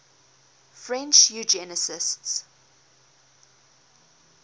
french eugenicists